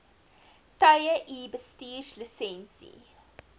tye u bestuurslisensie